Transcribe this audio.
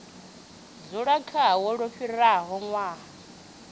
dzula khao lu fhiraho ṅwaha